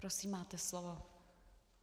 Prosím, máte slovo.